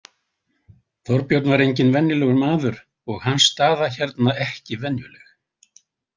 Þorbjörn var enginn venjulegur maður og hans staða hérna ekki venjuleg.